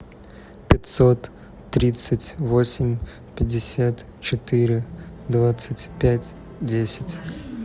пятьсот тридцать восемь пятьдесят четыре двадцать пять десять